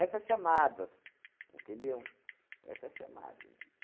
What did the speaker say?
chamadas, entendeu? Essas chamadas.